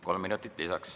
Kolm minutit lisaks.